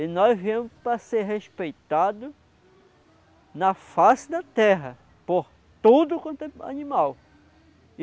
E nós viemos para ser respeitados na face da terra, por tudo quanto é animal.